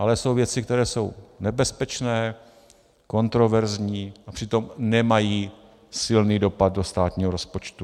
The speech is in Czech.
Ale jsou věci, které jsou nebezpečné, kontroverzní a přitom nemají silný dopad do státního rozpočtu.